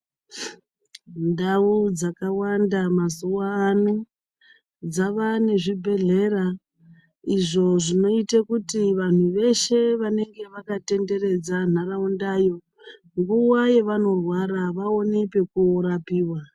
Ndau dzakawanda mazuvano dzave nezvibhedhleya izvo zvinoite kuti vantu veshe vanenge vakatenderedza ntaraundayo nguwa yavanorwara vaone pekurapiwa.